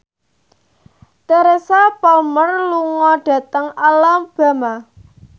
Teresa Palmer lunga dhateng Alabama